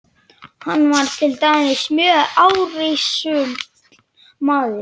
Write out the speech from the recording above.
Hann var til dæmis mjög árrisull maður.